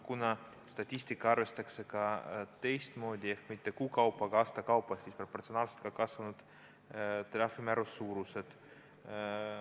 Kuna statistikat arvestatakse teistmoodi – mitte kuu kaupa, vaid aasta kaupa –, siis on proportsionaalselt kasvanud ka trahvimäära suurused.